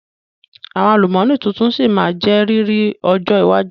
Àwọn àlùmọ́nì tuntun sí má jẹ́ riri ọjọ́ iwájú